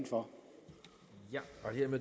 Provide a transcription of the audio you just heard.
for